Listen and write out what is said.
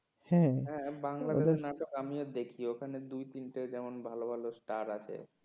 হ্যাঁ বাংলাদেশের নাটক আমিও দেখি ওইখানে দুই তিনটে যেমন ভালো ভালো star আছে।